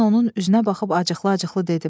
Mən onun üzünə baxıb acıqlı-acıqlı dedim.